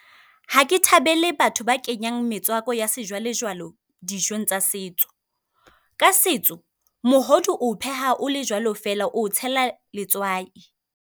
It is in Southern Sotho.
Ha ke thabele batho ba kenyang metswako ya sejwale-jwale dijong tsa setso. Ka setso, mogodu o pheha o le jwalo fela oo tsela letswai.